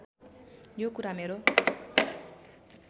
यो कुरा मेरो